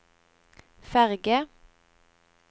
ferge